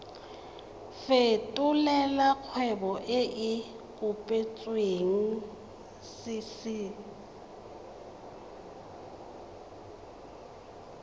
fetolela kgwebo e e kopetswengcc